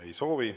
Ei soovi.